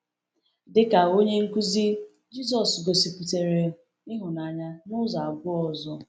Dịka onye nkuzi, Jisọs gosipụtara ịhụnanya n’ụzọ abụọ ọzọ.